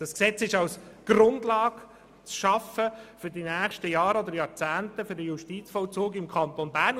Das Gesetz soll als Grundlage für den Justizvollzug im Kanton in den nächsten Jahren oder Jahrzehnten geschaffen werden.